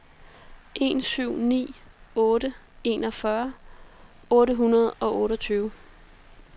en syv ni otte enogfyrre otte hundrede og otteogtyve